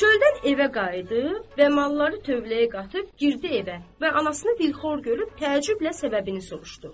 Çöldən evə qayıdıb və malları tövləyə qatıb girdi evə və anasını bir xor görüb təəccüblə səbəbini soruşdu.